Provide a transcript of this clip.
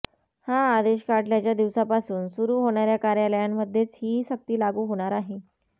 हा आदेश काढल्याच्या दिवसापासून सुरू होणाऱया कार्यालयांमध्येच ही सक्ती लागू होणार आहे